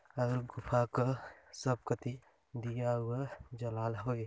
और गुफा का सब करती दिया उआ जलाल हवे--